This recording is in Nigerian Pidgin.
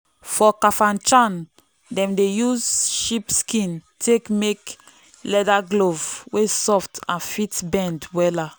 for kafanchan dem dey use sheep skin take make leather glove wey soft and fit bend wella.